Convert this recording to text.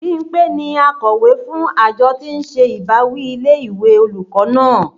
Bímpé ni akọ̀wé fún àjọ tí ń ṣe ìbáwí ilé ìwé olùkọ́ náà